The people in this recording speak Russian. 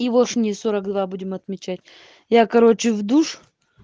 евошние сорок два будем отмечать я короче в душ